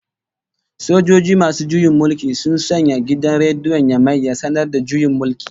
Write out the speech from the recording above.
Sojoji masu juyin mulki sun sanya gidan rediyon Yamai ya sanar da juyin mulki